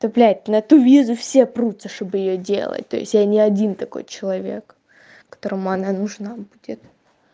та блять на ту визу все прутся чтобы её делать то есть я не один такой человек которому она нужна будет